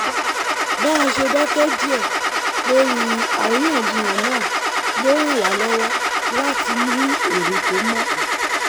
bá a ṣe dákẹ́ díẹ̀ lórí àríyànjiyàn náà ló ràn wá lọ́wọ́ láti ní èrò tó mọ́